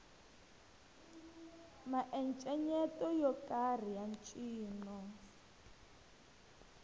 miencenyeto yo karhi ya ncino